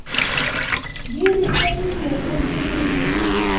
di re tlemilego di re